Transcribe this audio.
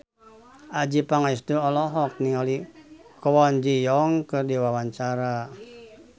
Adjie Pangestu olohok ningali Kwon Ji Yong keur diwawancara